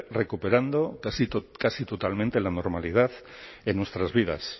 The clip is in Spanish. recuperando casi totalmente la normalidad en nuestras vidas